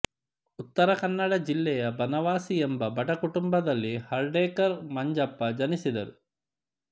ಉತ್ತರ ಕನ್ನಡ ಜಿಲ್ಲೆಯ ಬನವಾಸಿ ಎಂಬ ಬಡ ಕುಟುಂಬದಲ್ಲಿ ಹರ್ಡೆಕರ್ ಮಂಜಪ್ಪ ಜನಿಸಿದರು